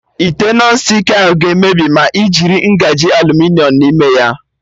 Ite Nọn stik ahụ ga-emebi ma ị jiri ngaji aluminiọm n'ime ya